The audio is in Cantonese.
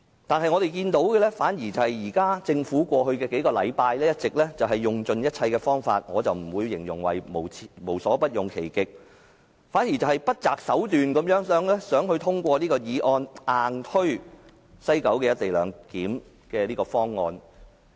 可是，我們看到的反而是政府在過去數星期一直用盡一切方法——我不會形容政府"無所不用其極"——而是不擇手段地想通過這項議案，硬推廣深港高速鐵路西九龍站的"一地兩檢"方案。